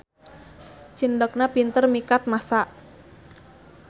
Cindekna pinter mikat massa.